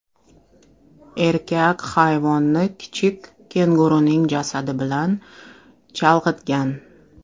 Erkak hayvonni kichik kenguruning jasadi bilan chalg‘itgan.